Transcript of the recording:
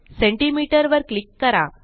centimetre वर click करा